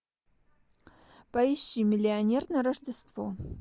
поищи миллионер на рождество